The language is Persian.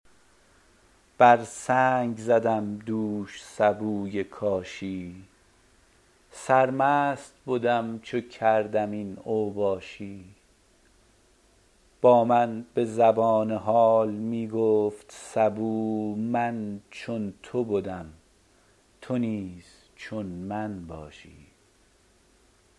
بر سنگ زدم دوش سبوی کاشی سرمست بدم چو کردم این اوباشی با من به زبان حال می گفت سبو من چون تو بدم تو نیز چون من باشی